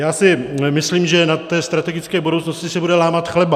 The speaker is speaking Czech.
Já si myslím, že na té strategické budoucnosti se bude lámat chleba.